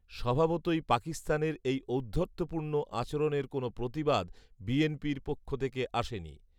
স্বভাবতই পাকিস্তানের এই ঔদ্ধত্যপূর্ণ আচরণের কোনও প্রতিবাদ বিএনপির পক্ষ থেকে আসেনি